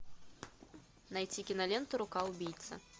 найти киноленту рука убийцы